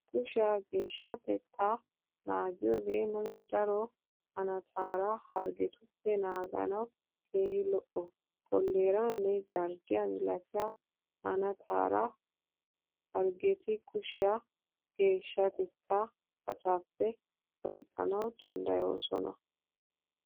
Kushiyaa geeshshatettaa naagiyogee nuna daro hanttaara harggetuppe naaganawu keehi lo'o. Kolleeraanne jarddiyaa milatiya hanttaara harggeti kushiyaa geeshshatettaa pacaappe oyqqanawu daddayoosona.